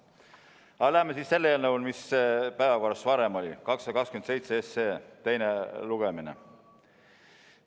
Aga läheme siis selle eelnõu, mis päevakorras varem oli – 227 –, teise lugemise juurde.